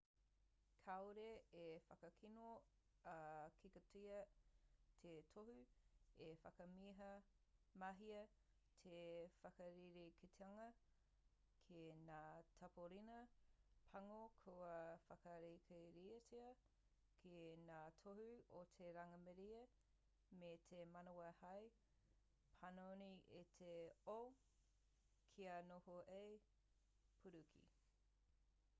kāore i whakakino ā-kikotia te tohu i whakamahia te whakarerekētanga ki ngā tāpōrena pango kua whakarākeitia ki ngā tohu o te rangimārie me te manawa hei panoni i te o kia noho hei e pūriki